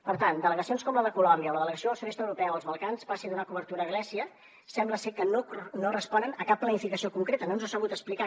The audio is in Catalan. per tant delegacions com la de colòmbia o que la delegació del sud est europeu als balcans passi a donar cobertura a grècia sembla ser que no responen a cap planificació concreta no ens ha sabut explicar